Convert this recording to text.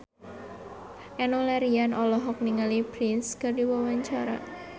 Enno Lerian olohok ningali Prince keur diwawancara